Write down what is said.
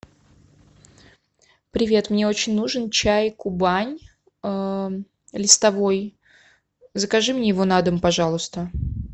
привет мне очень нужен чай кубань листовой закажи мне его на дом пожалуйста